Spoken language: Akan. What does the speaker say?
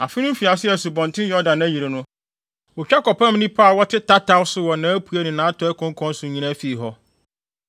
Afe no mfiase a Asubɔnten Yordan ayiri no, wotwa kɔpam nnipa a wɔtete tataw so wɔ nʼapuei ne nʼatɔe konkɔn so nyinaa fii hɔ.